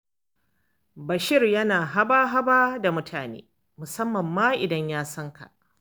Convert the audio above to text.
Bashir yana da haba-haba da mutane, musamman ma idan ya san ka.